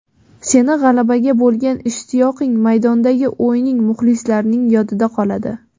Seni g‘alabaga bo‘lgan ishtiyoqing, maydondagi o‘yining muxlislarning yodida qoladi.